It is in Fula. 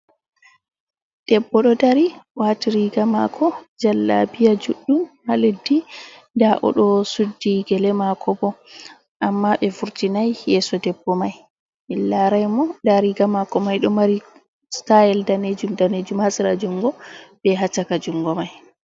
Debbo ɗo dari wati riga mako jalla biya juɗɗum ha leddi nda oɗo suddi gele mako bo amma ɓe furtinai yesso debbo mai, min larai mo nda riga mako mai ɗo mari stayal danejum danejum ha sera jungo be ha ccaka jungo mai.